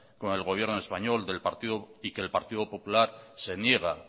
con el gobierno español y que el partido popular se niega